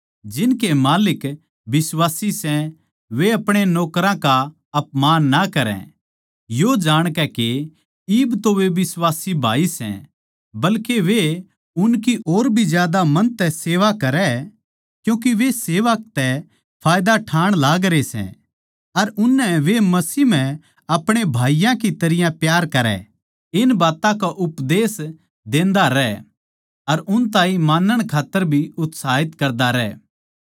जिनके माल्लिक बिश्वासी सै वे अपणे माल्लिकां का अपमान ना करै यो जाणकै के इब तो वे उनके बिश्वासी भाई सै बल्के वे उनकी और भी ज्यादा मन तै करै क्यूँके वे जो सेवा तै फैयदा ठाण लागरे सै अर उननै वे मसीह म्ह अपणे भाईयाँ की तरियां प्यार करै इन बात्तां का उपदेश करदा रह अर उन ताहीं मानण खात्तर भी उत्साहित करदा रह